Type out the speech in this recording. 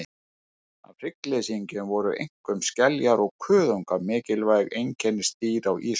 Af hryggleysingjum voru einkum skeljar og kuðungar mikilvæg einkennisdýr á ísöld.